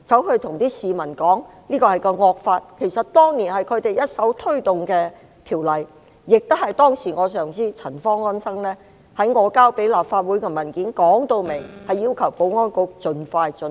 其實這是他們當年一手推動的條例，當時我上司陳方安生女士亦在我提交立法會的文件中，清楚表明要求保安局盡快進行。